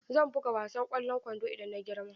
Zan buga wasan kwallon kwando idan na girma.